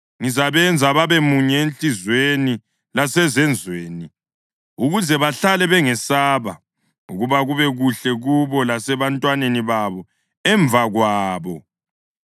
Ngizabenza babemunye enhliziyweni lasezenzweni, ukuze bahlale bengesaba, ukuba kube kuhle kubo lasebantwaneni babo emva kwabo.